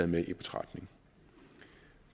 med i betragtning